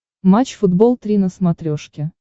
матч футбол три на смотрешке